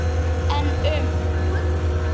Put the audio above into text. En um?